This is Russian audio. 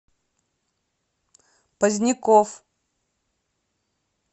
поздняков